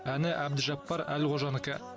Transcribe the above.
әні әбдіжаппар әлқожанікі